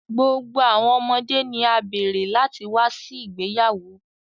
Gbogbo awọn ọmọde ni a beere lati wa si igbeyawo.